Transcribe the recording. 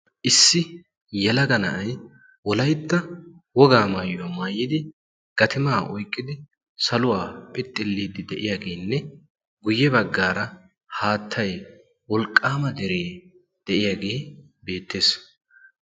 issi yalaga na'ay wolaitta wogaa maayuwaa maayidi gatimaa oiqqidi saluwaa phixxilliiddi de'iyaageenne guyye baggaara haattay wolqqaama deree de'iyaagee beettees